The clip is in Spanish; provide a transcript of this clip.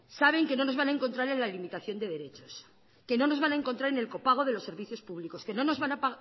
saben que no nos van a encontrar en la limitación de derechos que no nos van a encontrar en el copago de los servicios públicos que no nos van a